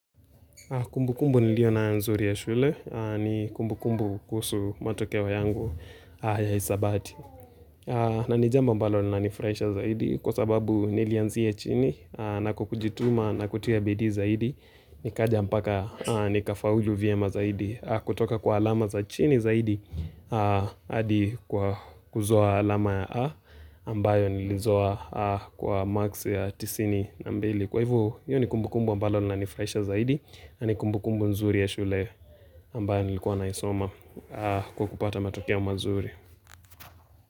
Kumbu kumbu nilio nayo nzuri ya shule, ni kumbu kumbu kuhusu matokeo yangu ya isabati. Na nijambo ambalo lina nifraisha zaidi, kwa sababu nilianzia chini, na kukujituma, na kutia bidii zaidi, ni kaja mpaka, ni kafaulu vyema zaidi, kutoka kwa alama za chini zaidi, hadi kuzoa alama ya A, ambayo nilizoa kwa marks ya tisini na mbili. Kwa hivo, hio ni kumbu kumbu ambalo na nifraisha zaidi na ni kumbu kumbu nzuri ya shule ambayo nilikuwa na isoma Kwa kupata matokeo mazuri.